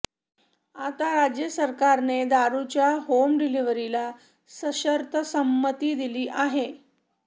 आता राज्य सरकारने दारुच्या होम डिलिव्हरीला सशर्त संमती दिली आहे